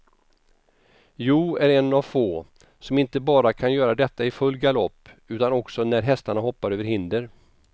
Joe är en av få, som inte bara kan göra detta i full galopp utan också när hästarna hoppar över hinder.